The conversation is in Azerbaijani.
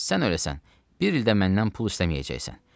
“Sən öləsen, bir ildə məndən pul istəməyəcəksən.